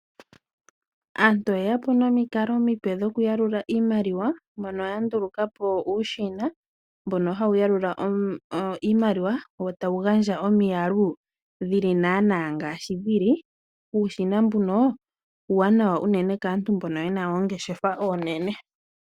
Aantu oyeya po nomikalo omipe dhokuyalula iimaliwa mono yanduluka po uushina mbono hawu yalula iimaliwa wo tawu gandja omiyalu dhili naana ngaashi dhili. Uushina mbuno uuwanawa unene kaantu mbono yena oongeshefa oonene.